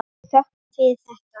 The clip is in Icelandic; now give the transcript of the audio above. Við þökkum fyrir þetta.